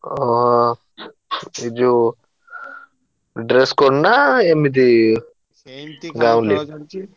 ଓ ଯୋଉ dress code ନା ଏମିତି ଗାଉଁଲି?